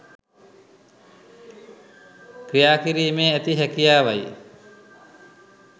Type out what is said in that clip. ක්‍රියාකිරීමේ ඇති හැකියාවයි.